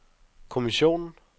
kommissionen